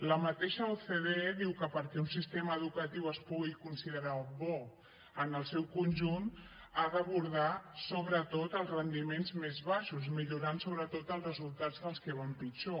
la mateixa ocde diu que perquè un sistema educatiu es pugui considerar bo en el seu conjunt ha d’abordar sobretot els rendiments més baixos i millorar sobretot els resultats dels que van pitjor